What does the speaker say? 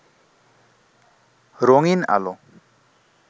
রঙিন্ আলো